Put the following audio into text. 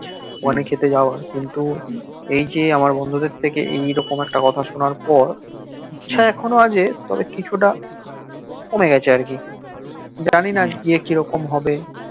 ওখানে খেতে জাওয়া কিন্তু এই যে আমার বিন্ধুদের থেকে এইরকম এতো কথা সনা পর সেইরকম আছে কিন্তু কিছুটা কমে গিয়েছে আর কি জানিনা গিএ কিরকম হবে